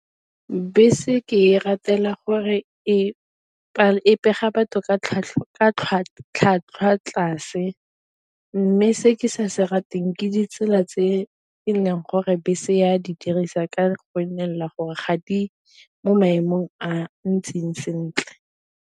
Bese ke e ratela gore e pega batho ka tlhwatlhwa tlase, mme se ke sa se rateng ke ditsela tse e leng gore bese e a di dirisa ka la gore ga di mo maemong a ntseng sentle.